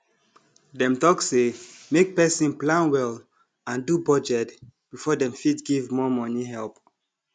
dem talk say make person plan well and do budget before dem fit give more money help